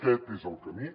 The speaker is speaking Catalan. aquest és el camí